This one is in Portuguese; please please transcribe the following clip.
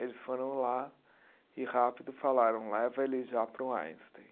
Eles foram lá e rápido falaram, leva ele já para o Einstein.